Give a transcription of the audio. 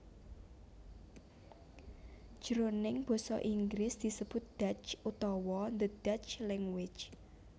Jroning Basa Inggris disebut Dutch utawa the Dutch Language